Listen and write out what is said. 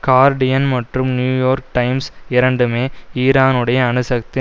Guardian மற்றும் New York Times இரண்டுமே ஈரானுடைய அணுசக்தி